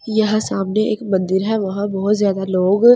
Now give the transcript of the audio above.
यह सामने एक मंदिर है वहां बहोत ज्यादा लोग--